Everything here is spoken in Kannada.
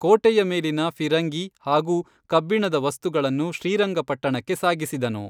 ಕೋಟೆಯ ಮೇಲಿನ ಫಿರಂಗಿ ಹಾಗೂ ಕಬ್ಬಿಣದ ವಸ್ತುಗಳನ್ನು ಶ್ರೀರಂಗಪಟ್ಟಣಕ್ಕೆ ಸಾಗಿಸಿದನು.